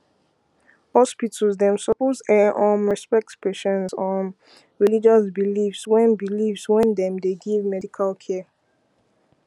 hospitals dem suppose[um][um] respect patients um religious beliefs wen beliefs wen dem dey give medical care